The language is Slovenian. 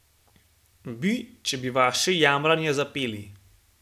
Bi, če bi vaše jamranje zapeli.